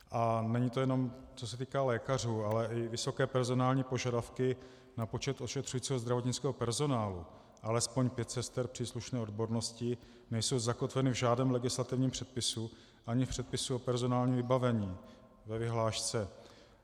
A není to jenom, co se týká lékařů, ale i vysoké personální požadavky na počet ošetřujícího zdravotnického personálu, alespoň pět sester příslušné odbornosti, nejsou zakotveny v žádném legislativním předpisu ani v předpisu o personálním vybavení ve vyhlášce.